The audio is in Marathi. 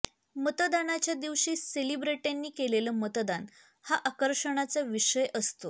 मतदानाच्या दिवशी सेलिब्रिटींनी केलेलं मतदान हा आकर्षणाचा विषय असतो